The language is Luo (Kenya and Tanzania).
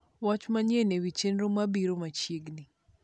wach manyien ewi chenro mabiro machiegni